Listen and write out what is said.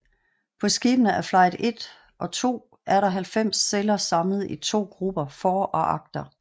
På skibene af Flight I og II er der 90 celler samlet i to grupper for og agter